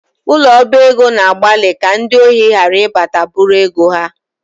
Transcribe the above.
Ụlọ ọba ego na-agbalị ka ndị ohi ghara ịbata bụ̣rụ ego ha